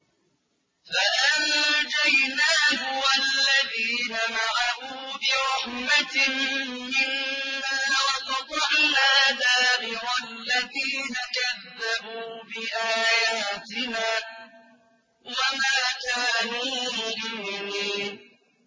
فَأَنجَيْنَاهُ وَالَّذِينَ مَعَهُ بِرَحْمَةٍ مِّنَّا وَقَطَعْنَا دَابِرَ الَّذِينَ كَذَّبُوا بِآيَاتِنَا ۖ وَمَا كَانُوا مُؤْمِنِينَ